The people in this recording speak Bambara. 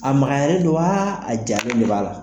A magayalen don wa a jalen de b'a la?